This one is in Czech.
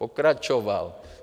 Pokračoval.